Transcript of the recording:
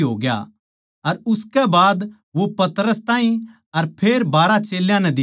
अर उसकै बाद वो पतरस ताहीं अर फेर बारहां चेल्यां नै दिख्या